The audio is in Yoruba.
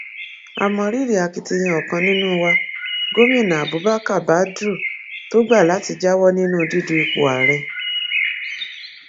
a mọ rírì akitiyan ọkan nínú wa gomina abubakar badru tó gbà láti jáwọ nínú dídú ipò ààrẹ